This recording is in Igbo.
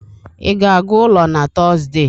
ị ga-aga ụlọ na Tọzdee?